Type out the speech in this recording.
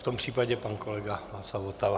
V tom případě pan kolega Václav Votava.